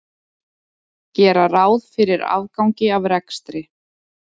Gera ráð fyrir afgangi af rekstri